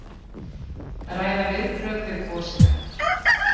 Ræða viðbrögð við gosinu